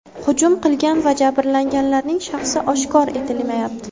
Hujum qilgan va jabrlanganlarning shaxsi oshkor etilmayapti.